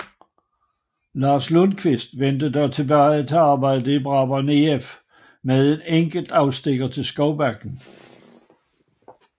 Lars Lundkvist vendte dog tilbage til arbejdet i Brabrand IF med en enkelt afstikker til Skovbakken